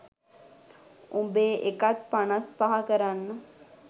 උඹේ එකත් පනස් පහ කරන්න.